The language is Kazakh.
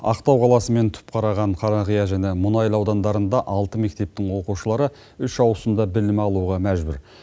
ақтау қаласы мен түпқараған қарақия және мұнайлы аудандарында алты мектептің оқушылары үш ауысымда білім алуға мәжбүр